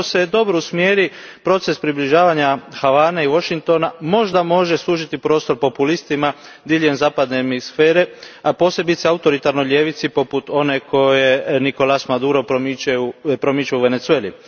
I ako se dobro usmjeri proces približavanja Havane i Washingtona možda može suziti prostor populistima diljem zapadne hemisfere, a posebno autoritarnoj ljevici poput one koju Nicolás Maduro promiče u Venezueli.